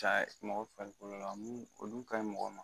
Ka mɔgɔ farikolo la o dun ka ɲi mɔgɔ ma